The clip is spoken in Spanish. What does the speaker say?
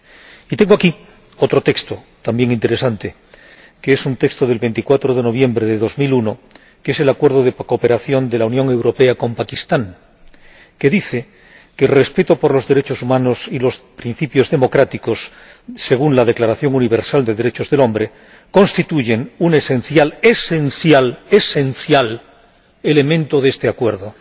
Y tengo aquí otro texto, también interesante, que es un texto de 24 de noviembre de 2001, el Acuerdo de Cooperación de la Unión Europea con Pakistán, que dice que el respeto por los derechos humanos y los principios democráticos, según la Declaración Universal de Derechos del Hombre, constituye un esencial —esencial, esencial— elemento de este Acuerdo.